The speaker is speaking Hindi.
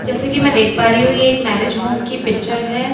जैसे कि मैं देख पा रही हूं ये एक मैरिज होम की पिक्चर है।